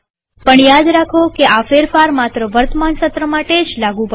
પણ યાદ રાખો કે આ ફેરફાર માત્ર વર્તમાન સત્ર માટે જ લાગુ પડે છે